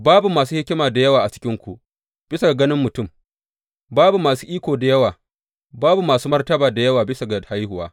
Babu masu hikima da yawa a cikinku, bisa ga ganin mutum; babu masu iko da yawa, babu masu martaba da yawa bisa ga haihuwa.